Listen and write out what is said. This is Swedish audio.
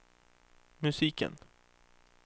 musiken